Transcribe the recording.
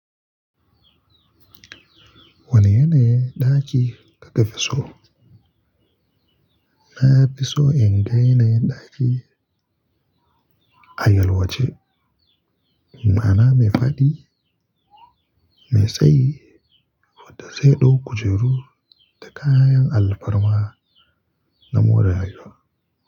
Wanne ne ɗaki ka tafi so? Na fi so in gan yanayin ɗaki a yal wace. Ma'ana mai faɗi, mai tsayi, wadda sai ɗauko kujeru da kayan alfarma na mure rayuwa.